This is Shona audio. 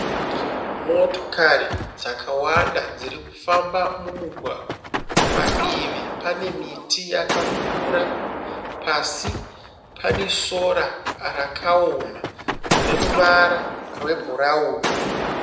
Motokari dzakwanda dziri kufamba mumugwagwa. Padivi pane miti yakakura. Pasi pane sora rakaoma rine ruvara rwebhurauni.